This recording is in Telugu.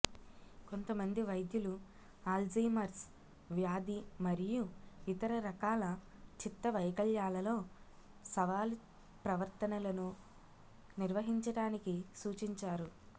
కొంతమంది వైద్యులు అల్జీమర్స్ వ్యాధి మరియు ఇతర రకాల చిత్తవైకల్యాలలో సవాలు ప్రవర్తనలను నిర్వహించటానికి సూచించారు